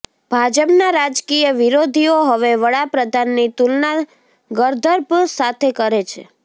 ભાજપના રાજકીય વિરોધીઓ હવે વડા પ્રધાનની તુલના ગર્દભ સાથે કરે છે